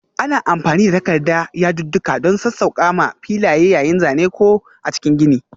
Ana amfani da takarda yadudduka don sassauƙa m filaye yayin zane ko a cikin gini.